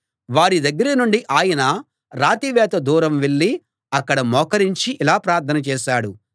వారి దగ్గర నుండి ఆయన రాతివేత దూరం వెళ్ళి అక్కడ మోకరించి ఇలా ప్రార్థన చేశాడు